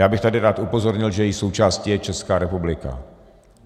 Já bych tady rád upozornil, že její součástí je Česká republika.